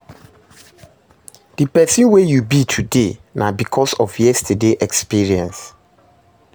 Di person wey yu be today na bikos of yestaday experience